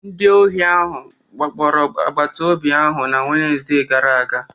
Ndị ohi wakporo agbataobi ahụ na Wenezde gara aga